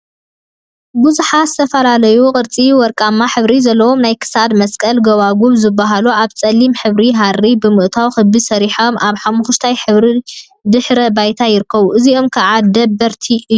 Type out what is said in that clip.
ቡዙሓት ዝተፈላለዩ ቅርጺን ወርቃማ ሕብሪን ዘለዎም ናይ ክሳድ መስቀልን ጎባጉብን ዝብሃሉ ኣብ ጸሊም ሕብሪ ሃሪ ብምእታው ክቢ ሰሪሖም ኣብ ሓመኩሽታይ ሕብሪ ድሕረ ባይታ ይርከቡ። እዚኦም ከዓ ደበርቲ እዮም።